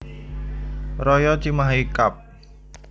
Raya Cimahi Kab